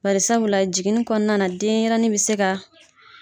Barisabula jiginni kɔnɔna na denɲɛrɛnin bɛ se ka